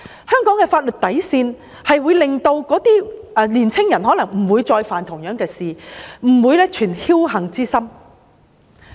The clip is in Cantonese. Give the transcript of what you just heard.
香港的法律底線，可能會令青年人不再犯同樣的事，不會存僥幸之心。